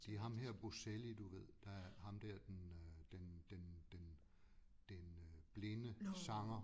Det er ham her Bocelli du ved der er ham dér den øh den den den den øh blinde sanger